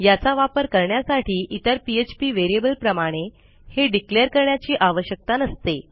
याचा वापर करण्यासाठी इतर पीएचपी व्हेरिएबलप्रमाणे हे डिक्लेअर करण्याची आवश्यकता नसते